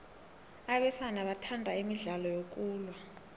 abesana bathanda imidlalo yokulwa